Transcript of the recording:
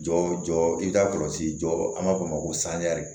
Jɔ i ka kɔlɔsi jɔ an b'a fɔ o ma ko